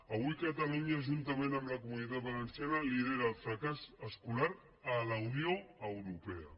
avui catalunya juntament amb la comunitat valenciana lidera el fracàs escolar a la unió europea